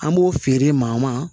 An b'o feere maa ma